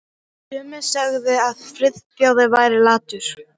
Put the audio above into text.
Sumir sögðu að Friðþjófur væri latur.